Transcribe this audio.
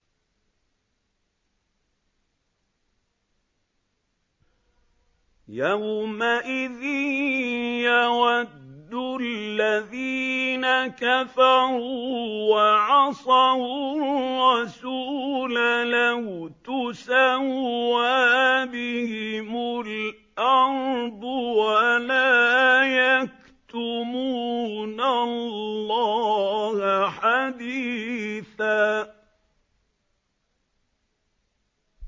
يَوْمَئِذٍ يَوَدُّ الَّذِينَ كَفَرُوا وَعَصَوُا الرَّسُولَ لَوْ تُسَوَّىٰ بِهِمُ الْأَرْضُ وَلَا يَكْتُمُونَ اللَّهَ حَدِيثًا